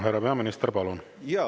Härra peaminister, palun!